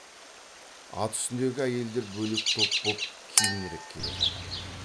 ат үстіндегі әйелдер бөлек топ боп кейінірек келе жатыр